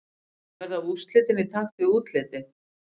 Verða úrslitin í takt við útlitið?